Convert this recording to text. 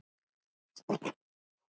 Gunnar hlær við.